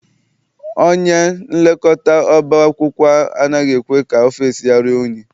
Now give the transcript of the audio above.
Onyenlekọta ọba akwụkwọ anaghị ekwe ka ọfịịsi ya ruo unyi.